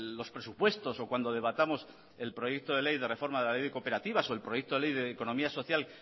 los presupuestos o cuando debatamos el proyecto de ley de reforma de la ley de cooperativas o el proyecto de ley de economía social